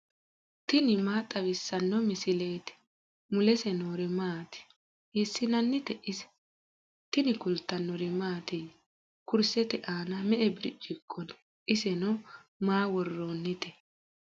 tini maa xawissanno misileeti ? mulese noori maati ? hiissinannite ise ? tini kultannori mattiya? Kurisette aanna me'e biricciqo noo? isenno maa woroonnitte?